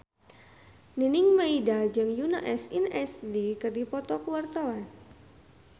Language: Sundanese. Nining Meida jeung Yoona SNSD keur dipoto ku wartawan